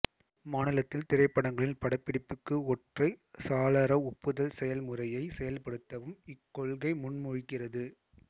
மாநிலத்தில் திரைப்படங்களின் படப்பிடிப்புக்கு ஒற்றை சாளர ஒப்புதல் செயல்முறையை செயல்படுத்தவும் இக்கொள்கை முன்மொழிகிறது